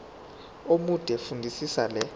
omude fundisisa le